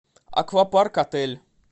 аквапарк отель